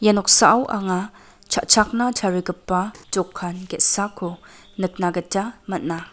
ia noksao anga cha·chakna tarigipa dokan ge·sako nikna gita man·a.